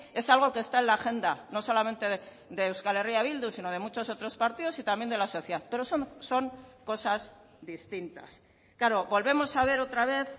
es algo que está en la agenda no solamente de euskal herria bildu sino de muchos otros partidos y también de la sociedad pero son cosas distintas claro volvemos a ver otra vez